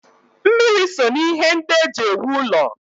Mmiri so n'ihe ndị e ji ewu ụlọ.